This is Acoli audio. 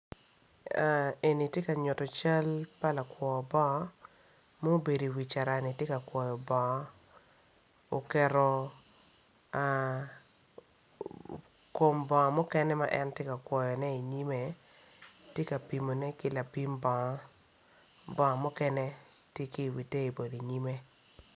Eni tye ka nyuto cal pa lakwor bongo mubedo i wi carani tye ka kwoyo bongo oketo kom bongo mukene ma en tye ka kwoyone inyime tye ka pimone ki lapim bongo, bongo mukene tye ki iwi table inyime